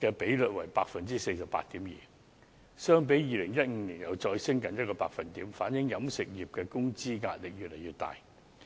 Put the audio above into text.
的比率為 48.2%， 相比2015年再上升近1個百分點，反映飲食業的工資壓力越來越大。